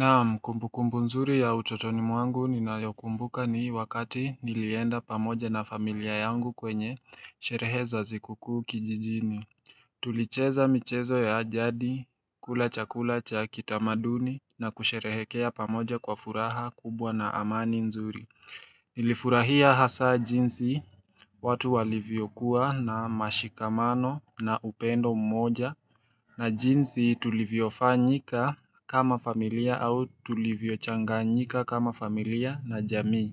Naam kumbukumbu nzuri ya utotoni mwangu ninayokumbuka ni wakati nilienda pamoja na familia yangu kwenye sherehe za sikuku kijijini Tulicheza michezo ya jadi, kula chakula cha kitamaduni na kusherehekea pamoja kwa furaha kubwa na amani nzuri. Nilifurahia hasa jinsi watu walivyokuwa na mshikamano na upendo mmoja na jinsi tulivyochanganyika kama familia na jamii.